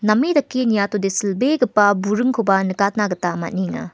name dake niatode silbegipa buringkoba nikatna gita man·enga.